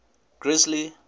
grizzly